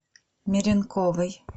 меренковой